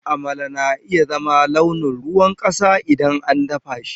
Amala na iya zama launin ruwan ƙasa idan an dafa shi.